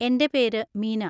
എൻ്റെ പേര് മീന.